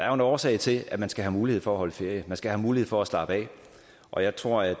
jo en årsag til at man skal have mulighed for at holde ferie man skal have mulighed for at slappe af og jeg tror at